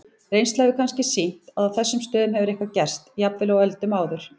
Reynslan hefur kannski sýnt að á þessum stöðum hefur eitthvað gerst, jafnvel á öldum áður.